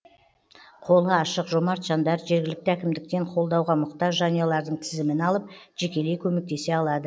қолы ашық жомарт жандар жергілікті әкімдіктен қолдауға мұқтаж жанұялардың тізімін алып жекелей көмектесе алады